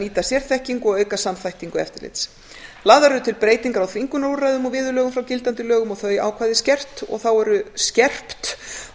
nýta sérþekkingu og auka samþættingu eftirlits lagðar eru til breytingar á þvingunarúrræðum og viðurlögum frá gildandi lögum og þau ákvæði skerpt